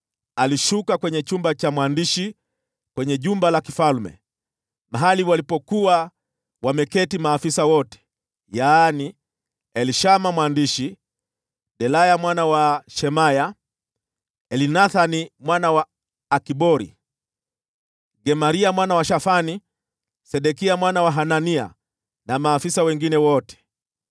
alishuka hadi kwenye chumba cha mwandishi kwenye jumba la kifalme, mahali walipokuwa wameketi maafisa wote: yaani Elishama mwandishi, Delaya mwana wa Shemaya, Elnathani mwana wa Akbori, Gemaria mwana wa Shafani, Sedekia mwana wa Hanania, na maafisa wengine wote.